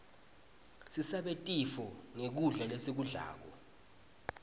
sisabe tifo nqgkudla lesikublako